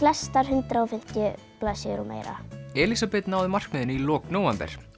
flestar hundrað og fimmtíu blaðsíður og meira Elísabet náði markmiðinu í lok nóvember hún